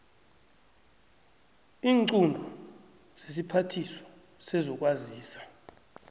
iinqunto zesiphathiswa sezokwazisa